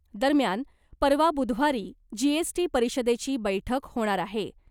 दरम्यान , परवा बुधवारी जीएसटी परिषदेची बैठक होणार आहे .